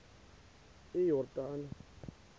iyordane